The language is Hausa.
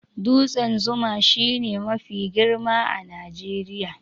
Dutsen zuma shi ne dutse mafi girma a Najeriya